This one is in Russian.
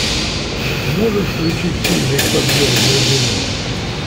можешь включить фильмик подъем с глубины